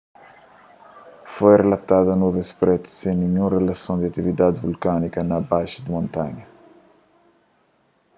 foi rilatadu nuvens prétu sen ninhun rilason ku atividadi vulkániku na bazi di montanha